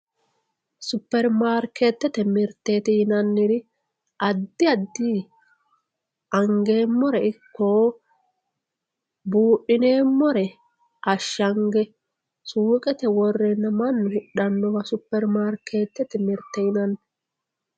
superimarikeetete mirte yinanniri addi addi angeemmore ikko buudhineemmore ashshange suuqete worreenna mannu hidhannoha superimaarikeetete mirte yinani